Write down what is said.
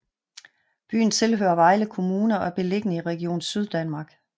Byen tilhører Vejle Kommune og er beliggende i Region Syddanmark